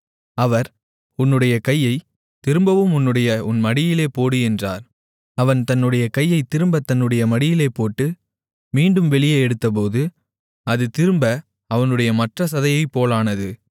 அவர் உன்னுடைய கையைத் திரும்பவும் உன்னுடைய உன் மடியிலே போடு என்றார் அவன் தன்னுடைய கையைத் திரும்பத் தன்னுடைய மடியிலே போட்டு மீண்டும் வெளியே எடுத்தபோது அது திரும்ப அவனுடைய மற்றச் சதையைப்போலானது